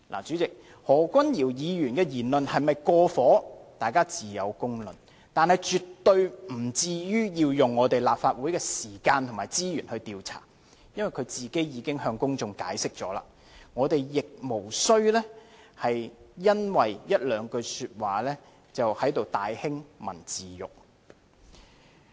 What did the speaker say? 主席，何君堯議員的議論是否"過火"，自有公論，但絕對不致於要花立法會的時間和資源來調查，因為他個人已向公眾作出解釋，我們亦無須因為一兩句說話而在這裏大興文字獄。